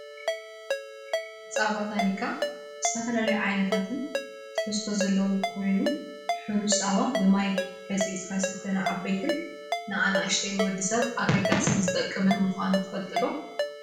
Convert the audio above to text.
ፃባ ታኒካ ዝተፈላለዩ ዓይነታትን ትሕዝቶን ዘለዎ ኮይኑ ሑሩጭ ፃባ ብማይ በፅብፂካ ዝስተ ንዓበይትን ንኣናእሽትን ወዲሰብ ኣገዳሲን ዝጠቅምን ምኳኑ ትፈልጡ ዶ?